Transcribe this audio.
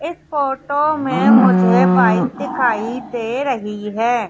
इस फोटो मे मुझे बाइक दिखाई दे रही है।